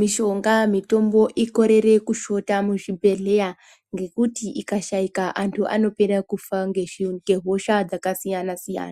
mishonga mitombo ikorere kushota muzvibhedhleya. Ngekuti ikashaika antu anopera kufa ngehosha dzakasiyana-siyana.